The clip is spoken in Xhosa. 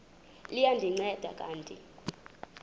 liya ndinceda kanti